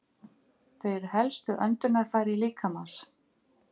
Þau eru helstu öndunarfæri líkamans.